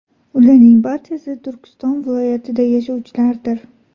Ularning barchasi Turkiston viloyatida yashovchilardir.